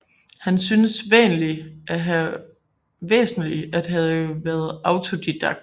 Han synes væsentlig at have været autodidakt